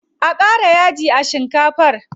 A ƙara yaji a shikafar.